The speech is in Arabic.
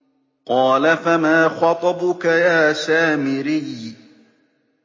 قَالَ فَمَا خَطْبُكَ يَا سَامِرِيُّ